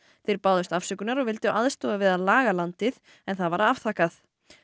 þeir báðust afsökunar og vildu aðstoða við að laga landið en það var afþakkað